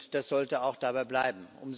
Das sollte auch dabei bleiben.